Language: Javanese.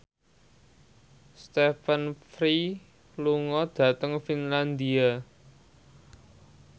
Stephen Fry lunga dhateng Finlandia